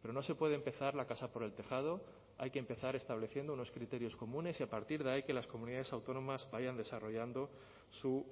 pero no se puede empezar la casa por el tejado hay que empezar estableciendo unos criterios comunes y a partir de ahí que las comunidades autónomas vayan desarrollando su